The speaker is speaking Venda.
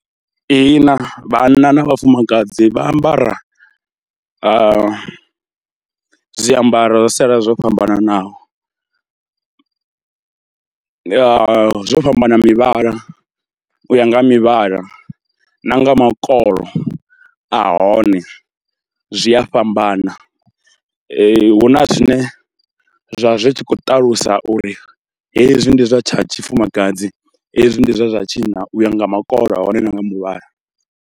Ihina, vhanna na vhafumakadzi vha ambara zwiambaro zwa sialala zwo fhambananaho. Zwo fhambana mivhala u ya nga ha mivhala na nga makolo a hone, zwi a fhambana, hu na zwine zwa zwi tshi khou ṱalusa uri hezwi ndi zwa tsha tshifumakadzi, hezwi ndi zwa tsha tshinna u ya nga makolo a hone na nga muvhala.